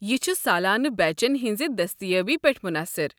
یہِ چھُ سالانہٕ بیچن ہنزِ دستیٲبی پیٹھ مُنحصِر۔